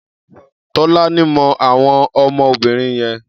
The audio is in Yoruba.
Tolani mọ àwọn ọmọ obìnrin yẹn.